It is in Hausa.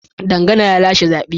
Dangana ya lashe zaben.